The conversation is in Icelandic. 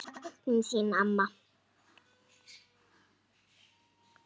Við söknum þín, amma.